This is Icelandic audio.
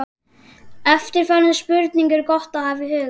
Eftirfarandi spurningar er gott að hafa í huga